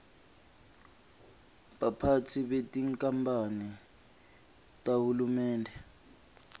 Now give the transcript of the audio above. baphatsi betinkamphane tahulumende